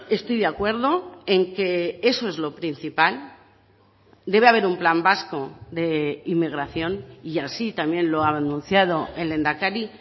estoy de acuerdo en que eso es lo principal debe haber un plan vasco de inmigración y así también lo ha anunciado el lehendakari